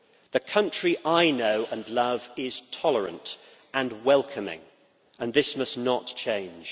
The country I know and love is tolerant and welcoming, and this must not change.